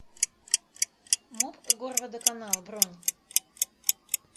муп горводоканал бронь